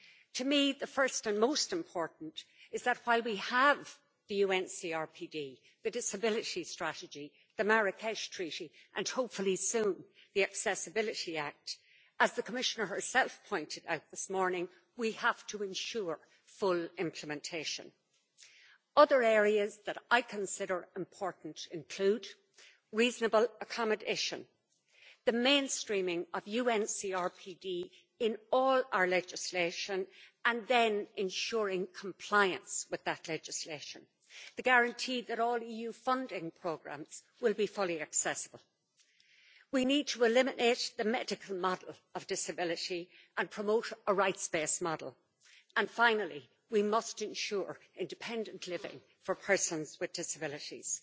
To me, the first and most important is that while we have the UN CRPD, the Disability Strategy, the Marrakech Treaty and, hopefully, soon the Accessibility Act, as the Commissioner herself pointed out this morning, we have to ensure full implementation. Other areas that I consider important include reasonable accommodation the mainstreaming of UN CRPD in all our legislation and then ensuring compliance with that legislation and the guarantee that all EU funding programmes will be fully accessible. We need to eliminate the medical model of disability and promote a rights based model. Finally, we must ensure independent living for persons with disabilities.